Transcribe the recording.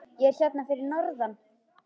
Ég er hérna fyrir norðan.